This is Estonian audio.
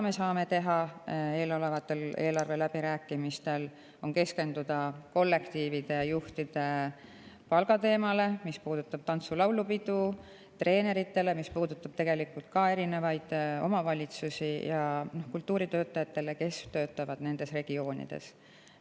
Me saame eelolevatel eelarveläbirääkimistel keskenduda kollektiivide juhtide palga teemale, see puudutab tantsu‑ ja laulupidu, treenereid, ka erinevaid omavalitsusi ja kultuuritöötajaid, kes töötavad nendes regioonides.